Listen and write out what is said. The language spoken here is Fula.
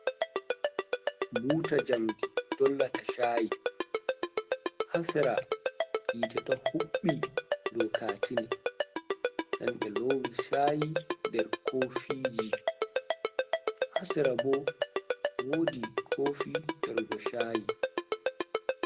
Buuta njamdi dolla ta shayi, haa sera yite ɗo huɓɓi kaatane, nden ɓe loowi shayi nder kofiji, haa sera ɓo woodi koofi yargo shayi.